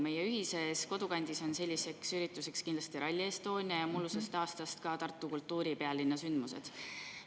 Meie ühises kodukandis on selliseks ürituseks kindlasti Rally Estonia ja mullu olid sellised ka Tartu kui kultuuripealinna sündmused.